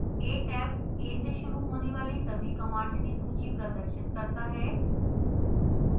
a tab a से शुरू होने वाली सभी कमांड्स की सूची प्रदर्शित करता है